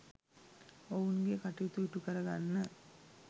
ඔවුන්ගේ කටයුතු ඉටු කරගන්න